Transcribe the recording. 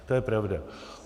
To je pravda.